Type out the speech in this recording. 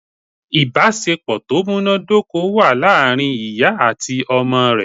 Ìbásepọ̀ tó múnádóko wà láàrin ìyá àti ọmọ rẹ̀